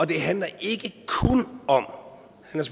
det handler ikke kun om